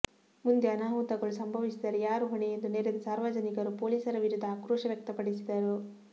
ಮುಂದೆ ಅನಾಹುತಗಳು ಸಂಭವಿಸಿದರೆ ಯಾರು ಹೊಣೆ ಎಂದು ನೆರೆದ ಸಾರ್ವಜನಿಕರು ಪೊಲೀಸರ ವಿರುದ್ದ ಆಕ್ರೋಶ ವ್ಯಕ್ತಪಡಿಸಿದರು